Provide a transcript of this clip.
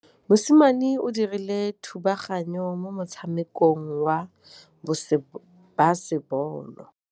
Mosimane o dirile thubaganyô mo motshamekong wa basebôlô.